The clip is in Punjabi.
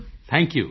thank you